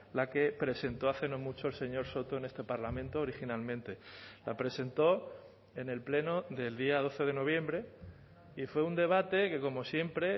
la que presentó hace no mucho el señor soto en este parlamento originalmente la presentó en el pleno del día doce de noviembre y fue un debate que como siempre